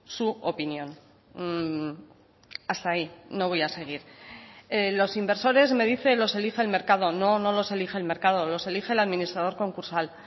su opinión hasta ahí no voy a seguir los inversores me dice los elige el mercado no no los elige el mercado los elige el administrador concursal